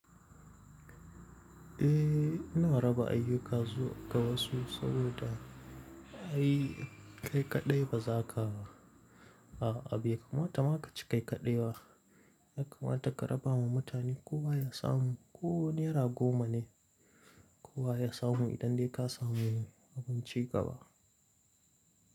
Eh ina raba ayuka zuwa ga wasu saboda ai kai kaɗai ba za ka ba. A abu ya kamata ma ka ci kai kaɗai wa, ya kamata ka raba ma mutane kowa ya samu. Ko naira goma ne kowa ya samu idan dai ka samu abinci gaba.